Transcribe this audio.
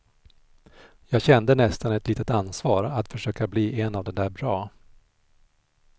Jag kände nästan ett litet ansvar att försöka bli en av de där bra.